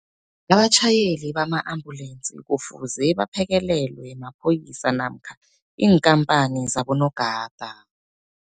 Abatjhayeli bama-ambulensi kufuze baphekelelwe maphoyisa namkha iinkhamphani zabonogada.